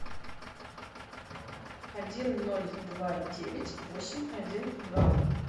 один ноль два девять восемь один два